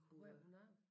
Hvor er det hun arbejder?